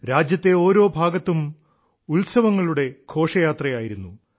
രാജ്യത്തെ ഓരോ ഭാഗങ്ങളിലും ഉത്സവങ്ങളുടെ ഘോഷയാത്രയായിരുന്നു